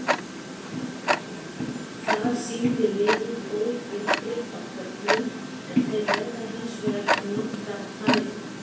Þar sýndi liðið góð tilþrif á köflum en þeir verða hins vegar að nýta færin.